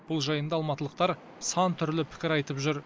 бұл жайында алматылықтар сантүрлі пікір айтып жүр